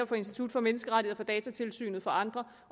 fra institut for menneskerettigheder datatilsynet og andre